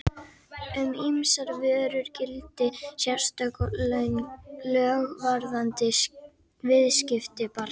Um ýmsar vörur gilda sérstök lög varðandi viðskipti barna.